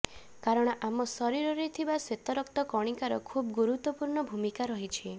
କାରଣ ଆମ ଶରୀରରେ ଥିବା ଶ୍ୱେତରକ୍ତ କଣିକାର ଖୁବ ଗୁରୁତ୍ୱପୂର୍ଣ୍ଣ ଭୂମିକା ରହିଛି